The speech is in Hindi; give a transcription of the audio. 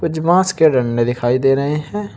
कुछ बांस के डंडे दिखाई दे रहे हैं।